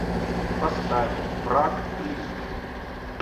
поставь враг близко